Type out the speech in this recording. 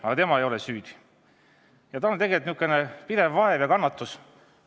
Aga tema ei ole süüdi ja tal on tegelikult pidev vaev ja kannatus.